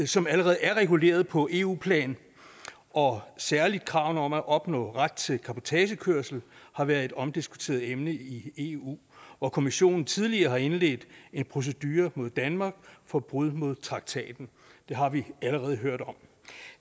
som allerede er reguleret på eu plan og særlig kravene om at opnå ret til cabotagekørsel har været et omdiskuteret emne i eu hvor kommissionen tidligere har indledt en procedure mod danmark for brud på traktaten det har vi allerede hørt om